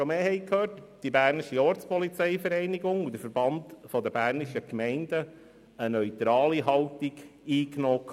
Hier haben die Verbände, namentlich die BOV und der VBG, eine neutrale Haltung eingenommen.